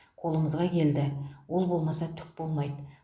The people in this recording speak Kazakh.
қолымызға келді ол болмаса түк болмайды